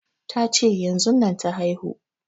Ta ce yanzun nan ta haihu